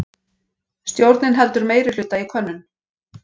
Stjórnin heldur meirihluta í könnun